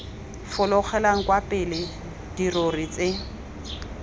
fologelang kwa pele dirori tse